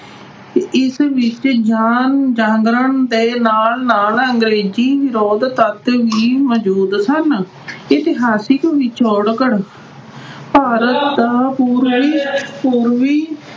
ਇਸ ਵਿੱਚ ਜਾਨ ਅਹ ਜਾਗਰਣ ਦੇ ਨਾਲ-ਨਾਲ ਅੰਗਰੇਜ਼ ਵਿਰੋਧੀ ਤੱਤ ਵੀ ਮੌਜੂਦ ਸਨ। ਇਤਿਹਾਸਿਕ ਪਿਛੋਕੜ, ਭਾਰਤ ਦਾ ਪੂਰਬੀ ਅਹ ਪੂਰਬੀ